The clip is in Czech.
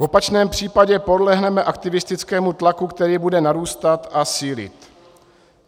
V opačném případě podlehneme aktivistickému tlaku, který bude narůstat a sílit.